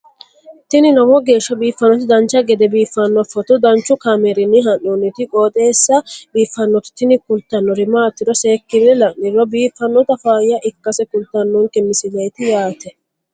tini lowo geeshsha biiffannoti dancha gede biiffanno footo danchu kaameerinni haa'noonniti qooxeessa biiffannoti tini kultannori maatiro seekkine la'niro biiffannota faayya ikkase kultannoke misileeti yaate